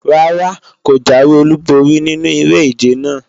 Rárá, kò jáwé olúborí nínu eré-ìje náà